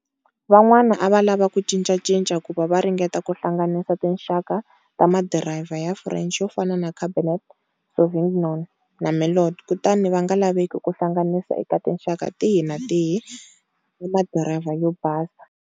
Van'wana ava lava ku cincacinca kuva va ringeta ku hlanganisa tinxaka ta madiriva ya French yofana na Cabernet Sauvignon na Merlot kutani vanga laveki ku hlanganisa eka tinxaka tihi na tihi ta madiriva yo basa.